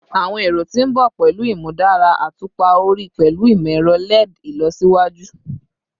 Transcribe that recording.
Awọn ero ti n bọ pẹlu imudara atupa ori pẹlu imọ-ẹrọ LED ilọsiwaju